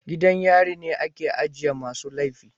Gidan yari ne ake ajiye masu laifi